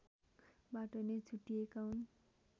बाट नै छुट्टिएका हुन्